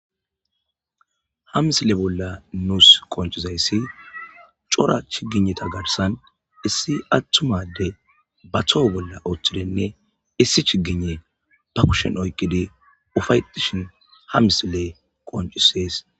Ha misile bolla nuus qoncizayssi cora chigineta garsan issi attumade ba toho bolla oththidenne issi chigine ba kushen oyqqidi ufayetishin ha misile qoncisees.